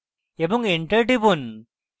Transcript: এবং enter টিপুন